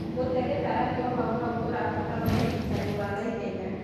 Gũte gĩtaranio hauhau kurabatara ũrigĩtani wa naihenya.